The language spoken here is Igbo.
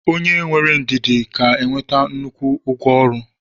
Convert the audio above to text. onye nwere ndidi ga-enweta nnukwu ụgwọ ọrụ